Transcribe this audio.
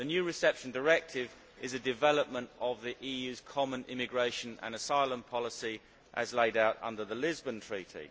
The new Reception Directive is a development of the EU's common immigration and asylum policy as laid out under the Lisbon Treaty.